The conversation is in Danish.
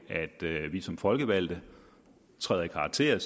at vi som folkevalgte trådte i karakter og